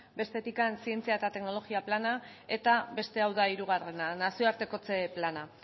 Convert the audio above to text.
bestetik zientzia eta teknologia plana eta beste hau da hirugarrena nazioartekotze plana